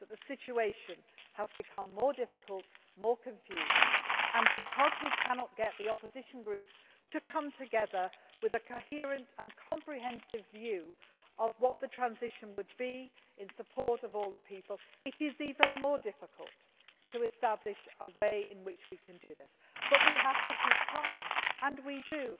The situation has become more difficult and more confused, and because we cannot get the Opposition groups to come together with a coherent and comprehensive view of what the transition would be in support of all the people, it is even more difficult to establish a way in which we can do this, but we have to keep trying and we do.